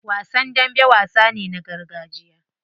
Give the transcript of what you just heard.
Wasan dambe wasa ne na gargajiya.